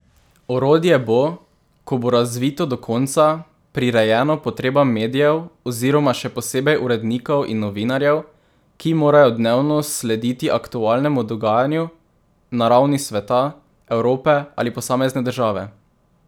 Orodje bo, ko bo razvito do konca, prirejeno potrebam medijev oziroma še posebej urednikov in novinarjev, ki morajo dnevno slediti aktualnemu dogajanju na ravni sveta, Evrope ali posamezne države.